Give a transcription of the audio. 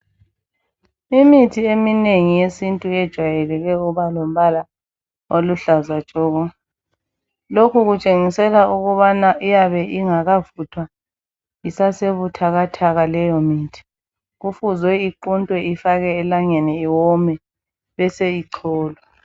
Imithi eminengi yesintu ijayele ukuba lombala oluhlaza tshoko lokhu kutshengisela ukuthi ukubana iyabe ingakavuthwa isasebuthakatha leyi mithi kufuzwe iquntwe ifakwe elangeni leyo mithi bese icholwa.